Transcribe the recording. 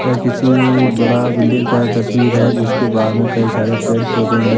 ये किसी बड़ा बिल्डिंग का तस्वीर है जिसके बारे में कई सारे पेड़ पौधे हैं।